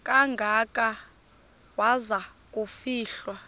kangaka waza kufihlwa